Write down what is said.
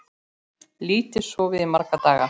Lítið sofið í marga daga.